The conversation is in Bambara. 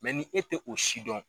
ni e tɛ o si dɔn